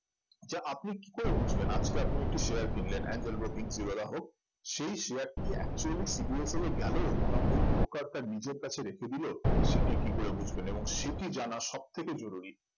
যা আপনি কি করে বুঝবেন আজকে আপনি একটি share কিনলেন এঞ্জেল ব্রোকিং জিরোধা হোক সেই share টি actually CDSL এ গেলো না ওই broker তার নিজের কাছে রেখে দিল সেটি কি করে বুঝবেন এবং সেটি জানা সবথেকে জরুরী